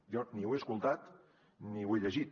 jo ni ho he escoltat ni ho he llegit